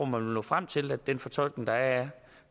man vil nå frem til at den fortolkning der er